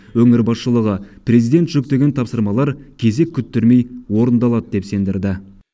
өңір басшылығы президент жүктеген тапсырмалар кезек күттірмей орындалады деп сендірді